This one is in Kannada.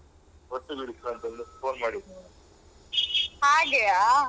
ಹಾಗೆಯಾ